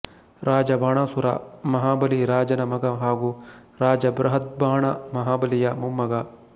ರಾಜ ಬಾಣಾಸುರ ಮಹಾಬಲಿ ರಾಜನ ಮಗ ಹಾಗೂ ರಾಜ ಬೃಹದ್ಬಾಣ ಮಹಾಬಲಿಯ ಮೊಮ್ಮಗ